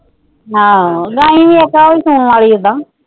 ਹਾਂ ਗਾਈਂ ਵੀ ਤਾਂ ਸੂਣ ਵਾਲੀ ਏਦਾਂ